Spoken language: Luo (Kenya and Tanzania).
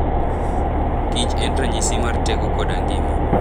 Kich en ranyisi mar teko koda ngima.